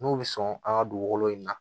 N'u bɛ sɔn an ka dugukolo in na